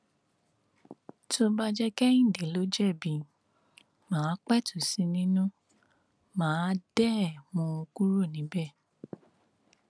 tó bá jẹ kehinde ló jẹbi má a pẹtù sí i nínú má a dé mú un kúrò níbẹ